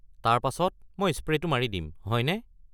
তাৰ পাছত মই স্প্ৰে'টো দিম, হয়নে?